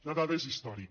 la dada és històrica